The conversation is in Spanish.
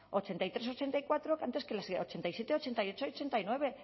ochenta y tres ochenta y cuatro antes que las de ochenta y siete ochenta y ocho y ochenta y nueve